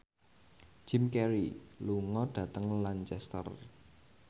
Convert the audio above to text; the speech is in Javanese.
Jim Carey lunga dhateng Lancaster